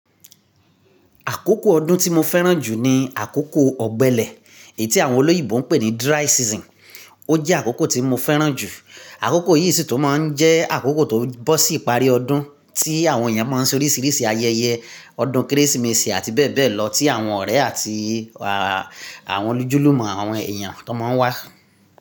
Àkókò ọdún tí mo fẹ́ràn jù ni àkókò ọ̀gbẹlẹ̀, èyí tí àwọn olóyìibo ń pè ní dry season. Ó jẹ́ àkókò tí mo fẹ́ràn jù. Àkókò yìí sì tún máa ń jẹ àkókò tó bọ̀ sí ìparí ọdún, tí àwọn èèyàn máa ń ṣe oríṣìíríṣìí ayẹyẹ, ọdún Kérésìmesì àti bẹ́ẹ̀ bẹ́ẹ̀ lọ tí àwọn ọ̀rẹ́ àti àwọn ojúlùmọ̀ àwọn èèyàn tó máa ń wá.